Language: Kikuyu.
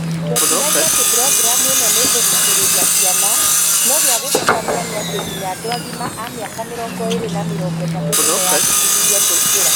tweciragia atï programu ĩno nĩ kũgucĩrĩria ciana, no gïa gũthekania nĩ atĩ nginya andũ agima a miaka 20 na 30 nĩmeyandĩkithirie kũingïra